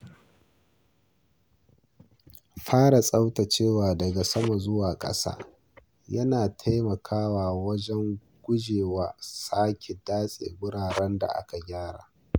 Fara tsaftacewa daga sama zuwa ƙasa yana taimakawa wajen guje wa sake datse wuraren da aka gyara.